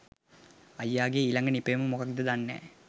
අයියගේ ඊලඟ නිපැයුම මොක්කද දන්නෑ